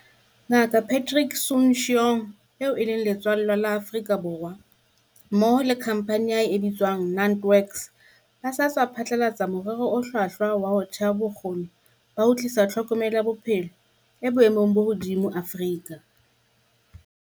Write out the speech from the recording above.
Nga kaPatrick Soon-Shiong, eo e leng letswallwa la Afrika Borwa, mmoho le khampani ya hae e bitswang NantWorks ba sa tswa phatlalatsa morero o hlwahlwa wa ho theha bo kgoni ba ho tlisa tlhokomelo ya bophelo e boemong bo hodimo Afrika.